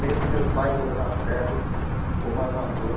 Vendo meu pai dobrar ferro como armador.